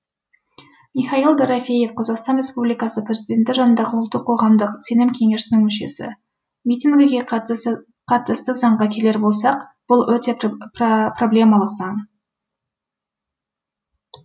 михаил дорофеев қазақстан республикасы президенті жанындағы ұлттық қоғамдық сенім кеңесінің мүшесі митингіге қатысты заңға келер болсақ бұл өте проблемалық заң